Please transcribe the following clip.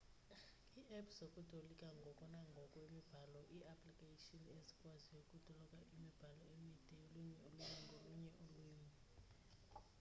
ii-apps zokutolika ngoko nangoko imibhalo ii-applikayshini ezikwaziyo ukutolika iimibhalo emide yolunye ulwimi ngolunye ulwimi